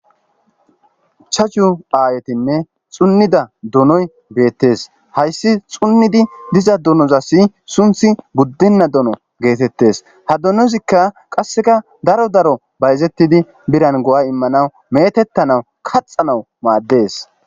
Ichchashu aayetinne xunida donoy beetees. Hayssi xunidi diza donozassi sunthi guddinna dono geetettees. Ha donozikka qassikka daro daro bayzetidi birran go'a immanawu meetetanaw kaxanawu maadees.